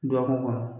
Dɔgɔkun kɔnɔ